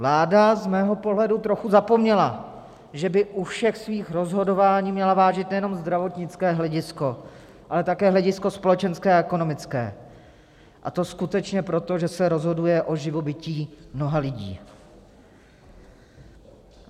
Vláda z mého pohledu trochu zapomněla, že by u všech svých rozhodování měla vážit nejenom zdravotnické hledisko, ale také hledisko společenské a ekonomické, a to skutečně proto, že se rozhoduje o živobytí mnoha lidí.